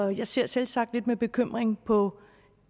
jeg ser selvsagt lidt med bekymring på